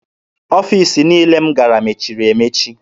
Ọfiisi niile m gara mechiri emechi.